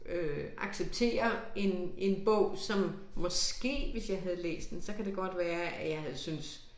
Øh acceptere en en bog som måske hvis jeg havde læst den så kan det godt være at jeg havde syntes